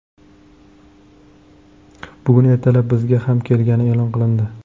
Bugun ertalab bizga ham kelgani e’lon qilindi!